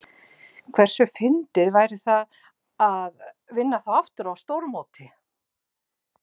Hversu fyndið væri líka að vinna þá aftur á stórmóti?